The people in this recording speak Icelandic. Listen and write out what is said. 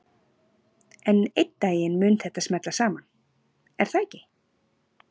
En einn daginn mun þetta smella saman, er það ekki?